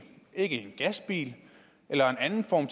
ikke en gasbil eller en anden form